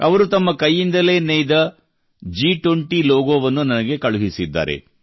ಅವರು ತಮ್ಮ ಕೈಯಿಂದಲೇ ನೇಯ್ದ G20 ಲೋಗೋವನ್ನು ನನಗೆ ಕಳುಹಿಸಿದ್ದಾರೆ